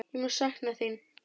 Ég mun sakna þín.